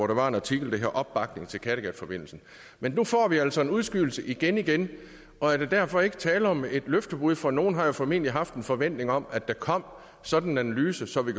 der var en artikel der hed opbakning til kattegatforbindelsen men nu får vi altså en udskydelse igenigen og er der derfor ikke tale om et løftebrud for nogle har formentlig haft en forventning om at der kom sådan en analyse så vi